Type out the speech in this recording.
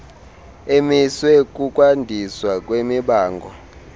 emiswe kukwandiswa kwemibango